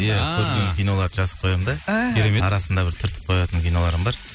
иә көрген киноларды жазып қоямын да іхі керемет арасында түртіп қоятын киноларым бар